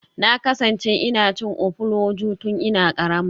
Na kasance ina cin ofuloju tun ina karama.